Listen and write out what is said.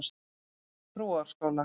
Brúarásskóla